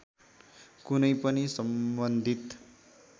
कुनै पनि सम्बन्धित